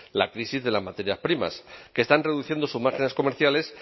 la crisis de las materias primas que están reduciendo sus márgenes comerciales